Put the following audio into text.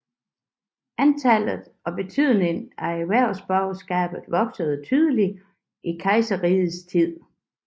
Antallet og betydningen af erhvervsborgerskabet voksede tydeligt i kejserrigets tid